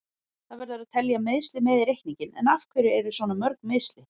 Það verður að telja meiðsli með í reikninginn, en af hverju eru svona mörg meiðsli?